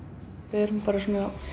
við erum bara að